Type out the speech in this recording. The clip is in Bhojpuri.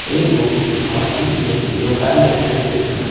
एगो मछली के दुकान दिखाई देत बा।